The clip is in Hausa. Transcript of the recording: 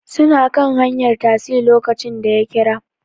Suna kan hanyar tasi lokacin da ya kira